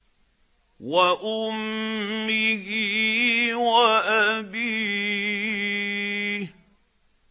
وَأُمِّهِ وَأَبِيهِ